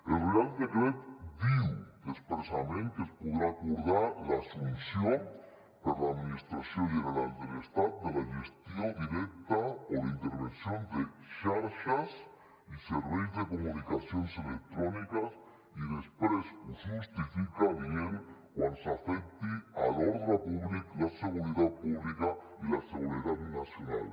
el reial decret diu expressament que es podrà acordar l’assumpció per l’administració general de l’estat de la gestió directa o la intervenció de xarxes i serveis de comunicacions electròniques i després ho justifica dient quan afectin l’ordre públic la seguretat pública i la seguretat nacional